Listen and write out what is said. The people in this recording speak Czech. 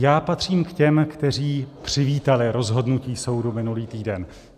Já patřím k těm, kteří přivítali rozhodnutí soudu minulý týden.